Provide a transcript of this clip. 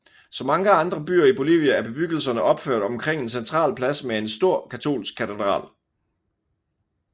Som mange andre byer i Bolivia er bebyggelserne opført omkring en central plads med en stor katolsk katedral